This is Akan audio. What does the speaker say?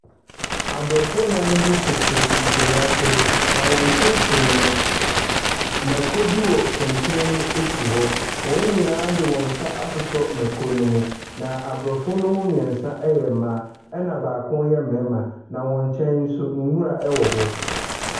Aborɔfo nnan bi tete nkonnwa so, na wɔn mfimfini no, mmako bi wɔ kɛntɛn mu si hɔ. Wɔn nyinaa de wɔn nsa asosɔ mmako no mu, na aborɔfo no mu mmeɛnsa yɛ mmaa, ɛnna baako yɛ mmarima, na wɔn nkyɛn nso, nwura wɔ hɔ.